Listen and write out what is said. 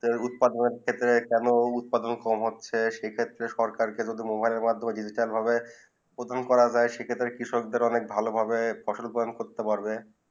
উৎপাদন ক্ষেত্রে কেন উৎপাদন কম হচ্ছেই সেই ক্ষেত্রে সরকারে মোবাইল মাধ্যমেই ডিজিটাল ভাবে প্রদান করা যায় সেই ক্ষেত্রে কৃষক দের ভালো ভাহে ফসল উৎপাদন করতে পারে